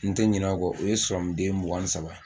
N tɛ ɲinɛ o kɔ o ye den mugan ni saba